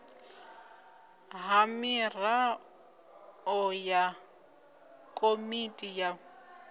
ha miraḓo ya komiti ya